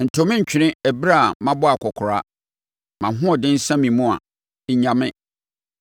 Nto me ntwene ɛberɛ a mabɔ akɔkoraa; mʼahoɔden sa me mu a, nnya me.